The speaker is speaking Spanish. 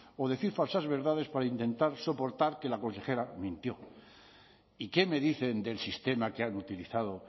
o decir falsas verdades para intentar soportar que la consejera mintió y qué me dicen del sistema que han utilizado